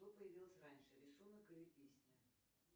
что появилось раньше рисунок или песня